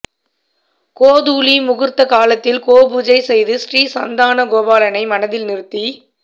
கோதூளி முகூர்த்த காலத்தில் கோபூஜை செய்து ஸ்ரீ சந்தான கோபாலனை மனதில் நிறுத்தி